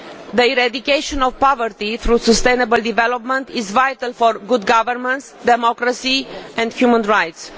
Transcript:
The eradication of poverty through sustainable development is vital for good governance, democracy and human rights.